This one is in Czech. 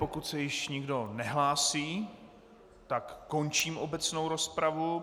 Pokud se již nikdo nehlásí, tak končím obecnou rozpravu.